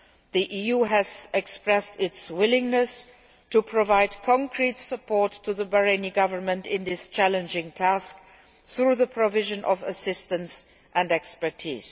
The EU has expressed its willingness to provide concrete support to the Bahraini Government in this challenging task, through the provision of assistance and expertise.